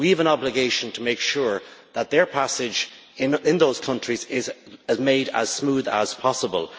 We have an obligation to make sure that their passage in those countries is made as smooth as possible.